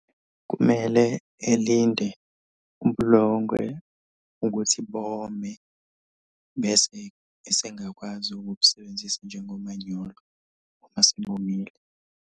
Kumele elinde ubulongwe ukuthi bome bese esengakwazi ukubusebenzisa njengomanyolo uma sebomile.